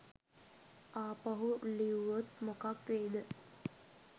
ආපහු ලිව්වොත් මොකක් වෙයිද?